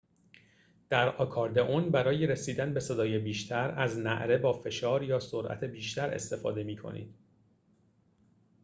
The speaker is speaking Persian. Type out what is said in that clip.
در آکاردئون برای رسیدن به صدای بیشتر از نعره با فشار یا سرعت بیشتر استفاده می کنید